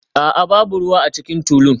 A'a, babu ruwa a cikin tulun